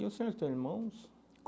E o senhor tem irmãos?